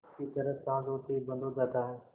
की तरह साँझ होते ही बंद हो जाता है